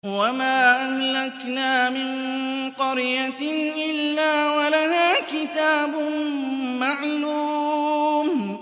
وَمَا أَهْلَكْنَا مِن قَرْيَةٍ إِلَّا وَلَهَا كِتَابٌ مَّعْلُومٌ